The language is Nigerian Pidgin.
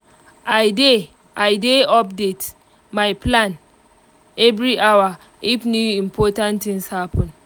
i dey i dey update my plan every hour if new important things happen